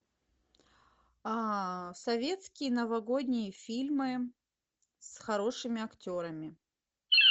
советские новогодние фильмы с хорошими актерами